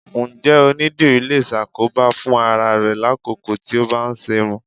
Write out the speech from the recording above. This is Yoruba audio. Ǹjẹ́ onídìrí lè ṣàkóbá fún ara rẹ lákòókò tí ó bá ń ṣerún?